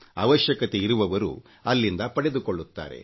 ಅವಶ್ಯಕತೆಯಿರುವವರು ಅಲ್ಲಿಂದ ಅದನ್ನು ಪಡೆದುಕೊಳ್ಳುತ್ತಾರೆ